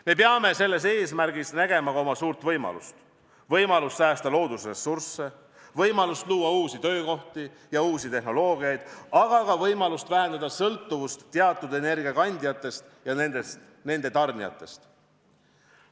Me peame selles eesmärgis nägema ka oma suurt võimalust, võimalust säästa loodusressursse, võimalust luua uusi töökohti ja uusi tehnoloogiaid, aga ka võimalust vähendada sõltuvust teatud energiakandjatest ja nende tarnijatest.